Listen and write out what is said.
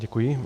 Děkuji.